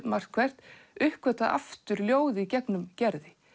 margt hvert uppgötvað aftur ljóð í gegnum Gerði